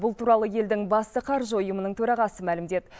бұл туралы елдің басты қаржы ұйымының төрағасы мәлімдеді